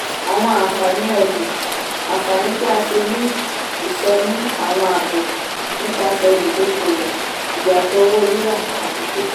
àwọn àǹfààní ọlú - àǹfààní tí a ṣe ní ìsọnù àwọn àábò nipasẹ̀ olùdókòwò ìyàtọ̀ owó ríra àti títa.